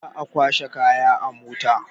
Za a kwashe kaya a mota.